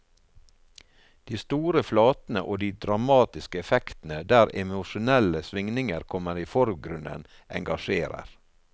De store flatene og de dramatiske effektene der emosjonelle svingninger kommer i forgrunnen, engasjerer.